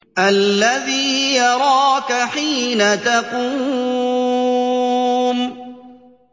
الَّذِي يَرَاكَ حِينَ تَقُومُ